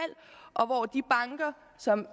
og som